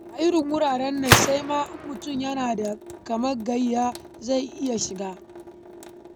A irin wuraren nan, sai ma in mutum yana da katin gayyata zai iya shiga.